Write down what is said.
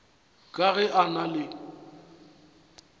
ka ge a na le